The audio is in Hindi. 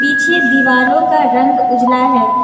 पीछे दीवालों का रंग उजला है।